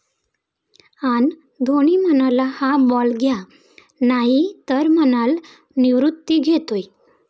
अन् धोनी म्हणाला, हा बॉल घ्या नाही तर म्हणाल निवृत्ती घेतोय